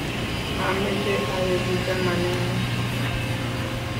mameche aeku chamaneng'ung'